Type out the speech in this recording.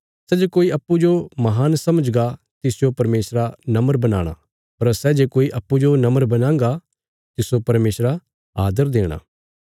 सै जे कोई अप्पूँजो महान समझगा तिसजो परमेशरा नम्र बनाणा पर सै जे कोई अप्पूँजो नम्र बणांगा तिस्सो परमेशरा आदर देणा